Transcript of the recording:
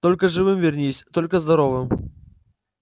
только живым вернись только здоровым